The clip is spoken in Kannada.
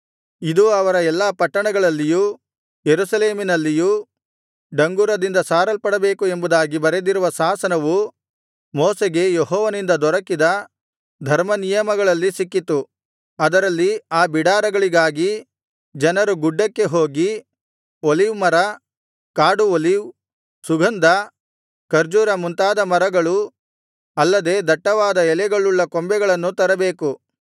ಇದು ಅವರ ಎಲ್ಲಾ ಪಟ್ಟಣಗಳಲ್ಲಿಯೂ ಯೆರೂಸಲೇಮಿನಲ್ಲಿಯೂ ಡಂಗುರದಿಂದ ಸಾರಲ್ಪಡಬೇಕು ಎಂಬುದಾಗಿ ಬರೆದಿರುವ ಶಾಸನವು ಮೋಶೆಗೆ ಯೆಹೋವನಿಂದ ದೊರಕಿದ ಧರ್ಮನಿಯಮಗಳಲ್ಲಿ ಸಿಕ್ಕಿತು ಅದರಲ್ಲಿ ಆ ಬಿಡಾರಗಳಿಗಾಗಿ ಜನರು ಗುಡ್ಡಕ್ಕೆ ಹೋಗಿ ಒಲೀವ್ ಮರ ಕಾಡು ಒಲೀವ್ ಸುಗಂಧ ಖರ್ಜೂರ ಮುಂತಾದ ಮರಗಳು ಅಲ್ಲದೆ ದಟ್ಟವಾದ ಎಲೆಗಳುಳ್ಳ ಕೊಂಬೆಗಳನ್ನು ತರಬೇಕು